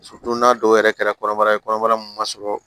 don n'a dɔw yɛrɛ kɛra kɔnɔbara ye kɔnɔbara min ma sɔrɔ